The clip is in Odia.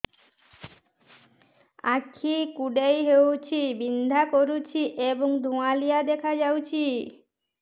ଆଖି କୁଂଡେଇ ହେଉଛି ବିଂଧା କରୁଛି ଏବଂ ଧୁଁଆଳିଆ ଦେଖାଯାଉଛି